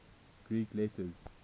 greek letters